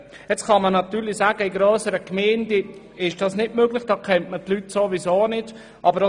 Jetzt kann man natürlich sagen, in grösseren Gemeinden sei das nicht möglich, weil man die Leute sowieso nicht kennt.